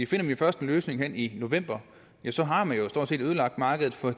finder vi først en løsning hen i november ja så har man jo stort set ødelagt markedet for